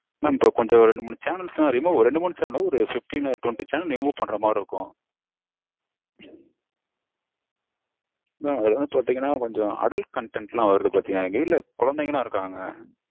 Mam ஒரு ரெண்டு மூனு channels லாம் remove ரெண்டு மூனு இல்ல. ஒரு fifteen to twenty channels remove பண்ற மாதிரி இருக்கும் Mam இது வந்து பாத்தீங்கனா கொஞ்சம் adult content லாம் வருது பாத்தீங்கனா. எங்க வீட்ல கொழந்தைங்கலாம் இருக்காங்க